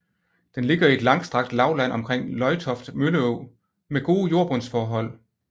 Den ligger i et langstrakt lavland omkring Løgtoft Mølleå med gode jordbundsforhold